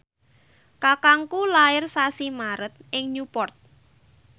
kakangku lair sasi Maret ing Newport